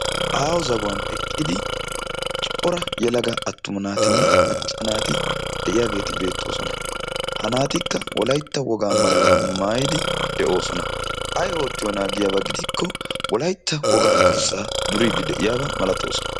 Aaho zagguwan eqqidi cora yelaga attuma naatinne macca naati de'iyaageeti beettoosona. Ha naatikka Wolaytta woga maayyuwa maayyidi de'oosona. Ay oottiyoona giyaaba gidikko wolaytta wogaa durssa duridi de'iyaaba malattoosona.